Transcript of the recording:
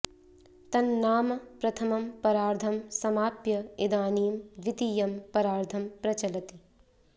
तन्नाम प्रथमं परार्धं समाप्य इदानीं द्वितीयं परार्धं प्रचलति